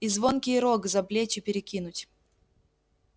и звонкий рог за плечи перекинуть